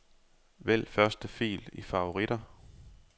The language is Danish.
Vælg første fil i favoritter.